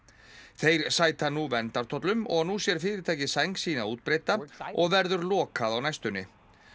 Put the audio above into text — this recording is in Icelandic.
þeir sæta nú verndartollum og nú sér fyrirtækið sæng sína útbreidda og verður lokað á næstunni